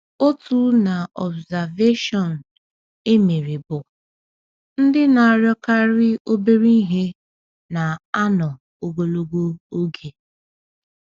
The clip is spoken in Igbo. Otu n’observaeshọn e mere bụ: “Ndị na-arịọkarị obere ihe na-anọ ogologo oge.”